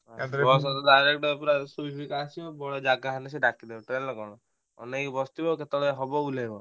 ବସରେ ଡ଼ାଇରେକ୍ଟ ପୁରା ଶୋଇ ଶୋଇକା ଆସିବ ଜାଗା ହେଲେ ସେ ଡ଼ାକିଦେବ ଟ୍ରେନରେ କଣ ଅନେଇକି ବସିଥିବ କେତେବେଳେ ହବ ଓହ୍ଲେଇବ।